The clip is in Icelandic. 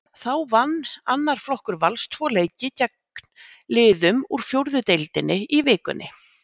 Þá vann annar flokkur Vals tvo leiki gegn liðum úr fjórðu deildinni í vikunni.